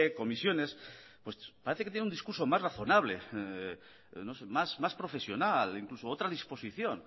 comisiones pues parece que tiene un discurso más razonable más profesional incluso otra disposición